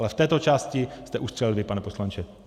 Ale v této části jste ustřelil vy, pane poslanče.